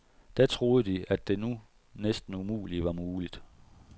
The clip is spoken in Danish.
Da troede de, at det nu næsten umulige var muligt.